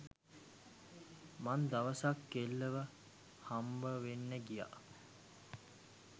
මං දවසක් කෙල්ලව හම්බවෙන්න ගියා.